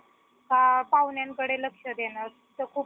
का पाव्हण्याकडे लक्ष देणार